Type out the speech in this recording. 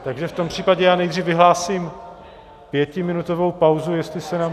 Takže v tom případě já nejdřív vyhlásím pětiminutovou pauzu, jestli se nám...